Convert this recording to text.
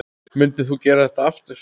Myndir þú gera þetta aftur?